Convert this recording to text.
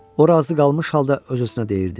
O razı qalmış halda öz-özünə deyirdi: